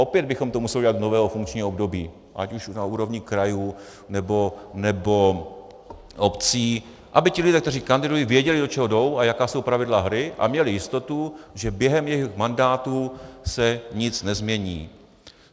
Opět bychom to museli udělat od nového funkčního období, ať už na úrovni krajů, nebo obcí, aby ti lidé, kteří kandidují, věděli, do čeho jdou a jaká jsou pravidla hry, a měli jistotu, že během jejich mandátu se nic nezmění.